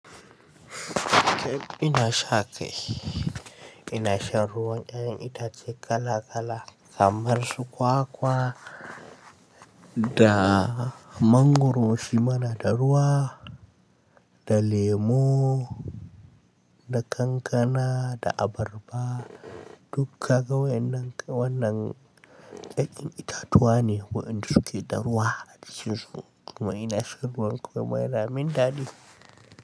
Cake, ina sha kai, ina shan ruwan ƴaƴan itace kala kala kamar su kwakwa da mangwaro shima na da ruwa, da lemo, da kankana, da abarba duk kaga waƴannan waƴannan ƴanƴan itatuwa ne waƴanda suke da ruwa a cikin su kuma ina shan ruwan kuma yana min daɗi.